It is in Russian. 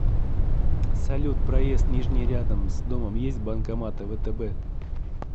салют проезд нижний рядом с домом есть банкоматы втб